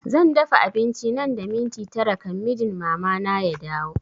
Zan dafa abinci nan da minti tara kan mijin mama na ya dawo